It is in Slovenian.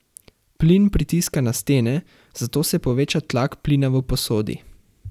Plin pritiska na stene, zato se poveča tlak plina v posodi.